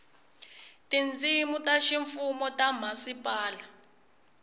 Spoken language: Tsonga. tindzimi ta ximfumo ta mhasipala